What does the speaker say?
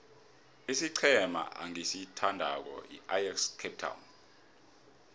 isiqhema engisithandako yiajax cape town